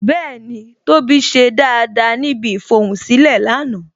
Bẹẹni, tóbi ṣe dáadáa níbi ifohunsilẹ lánàá